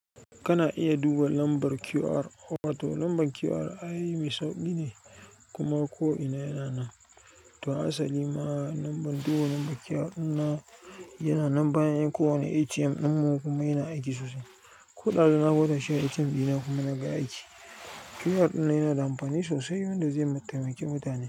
Kana iya duba lambar QR, wato lambar QR ai mai sauƙi ne kuma ko'ina yana nan. To asali ma lambar, duba lambar QR ɗina yana nan bayan kowane ATM ɗinmu kuma yana aiki sosai. Ko ɗazu na gwada shi a ATM ɗina kuma na ga yayi aiki. QR ɗina yana da amfani sosai wanda zai taimaki mutane.